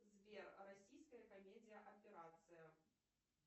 сбер российская комедия операция